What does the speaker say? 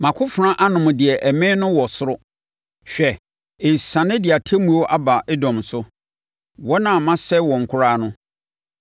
Mʼakofena anom deɛ ɛmee no wɔ soro; hwɛ, ɛresiane de atemmuo aba Edom so, wɔn a masɛe wɔn koraa no.